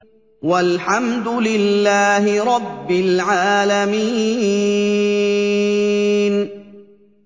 وَالْحَمْدُ لِلَّهِ رَبِّ الْعَالَمِينَ